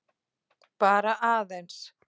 Bara aðeins.